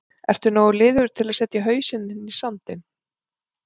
Ertu nógu liðugur til að setja hausinn þinn í sandinn?